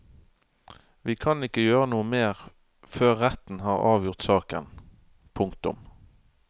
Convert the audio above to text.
Vi kan ikke gjøre noe mer før retten har avgjort saken. punktum